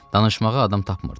Danışmağa adam tapmırdı.